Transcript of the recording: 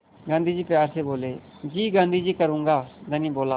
गाँधी जी प्यार से बोले जी गाँधी जी करूँगा धनी बोला